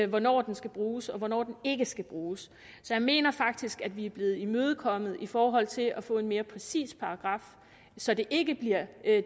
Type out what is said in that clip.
hvornår den skal bruges og hvornår den ikke skal bruges så jeg mener faktisk at vi er blevet imødekommet i forhold til at få en mere præcis paragraf så det ikke bliver